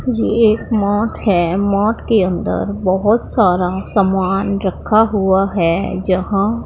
ये एक मठ है मठ के अंदर बहोत सारा समान रखा हुआ है जहां--